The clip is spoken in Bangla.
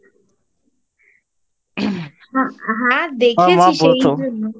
হ্যাঁ দেখেছি